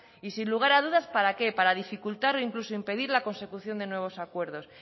y sin lugar a dudas para qué para dificultar o incluso impedir la consecución de nuevos acuerdos